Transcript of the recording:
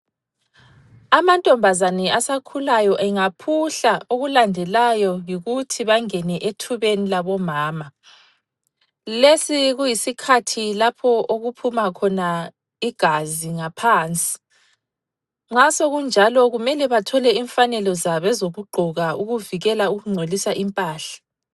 Amantombazane asakhulayo engaphuhla okulandelayo yikuthi bangene ethubeni labomama. Lesi kuyisikhathi lapho okuphuma khona igazi ngaphansi. Nxa sokunjalo kumele bathole imfanelo zabo ezokugqoka ukuvikela ukungcolisa impahla.